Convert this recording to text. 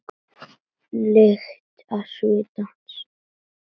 Lyktina af svita hans.